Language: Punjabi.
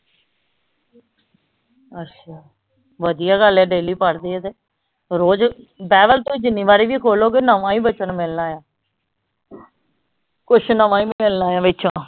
ਅੱਛਾ ਵਧੀਆ ਗੱਲ ਆ daily ਪੜ੍ਹਦੇ ਆ ਤੇ ਰੋਜ ਬਾਈਬਲ ਤੇ ਜਿੰਨੀ ਵਾਰੀ ਵੀ ਖੋਲੋਗੇ ਨਵਾਂ ਹੀ ਬੱਚਨ ਮਿਲਣਾ ਆ ਕੁੱਛ ਨਵਾਂ ਹੀ ਮਿਲਣਾ ਆ ਵਿਚੋਂ।